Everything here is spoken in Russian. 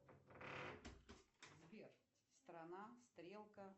сбер страна стрелка